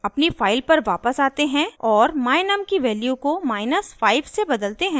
अपनी फाइल पर वापस आते हैं और my_num की वैल्यू को 5 से बदलते हैं